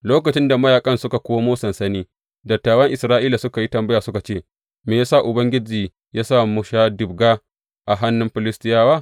Lokacin da mayaƙan suka komo sansani, dattawan Isra’ilawa suka yi tambaya suka ce, Me ya sa Ubangiji ya sa muka sha ɗibga a hannun Filistiyawa?